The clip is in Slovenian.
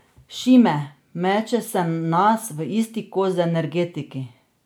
Šime: 'Meče se nas v isti koš z energetiki.